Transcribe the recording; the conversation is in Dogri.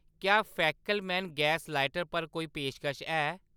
क्या फैकेलमैन गैस लाइटर पर कोई पेशकश है ?